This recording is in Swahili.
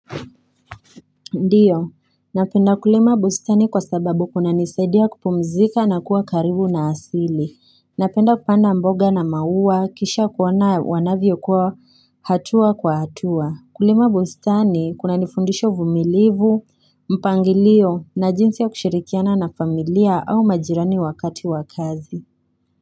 Ndio, napenda kulima bustani kwa sababu kunanisadia kupumzika na kua karibu na asili. Napenda kupanda mboga na maua, kisha kuona wanavyo kua hatua kwa hatua. Kulima bustani kunanifundisha uvumilivu, mpangilio na jinsi ya kushirikiana na familia au majirani wakati wa kazi.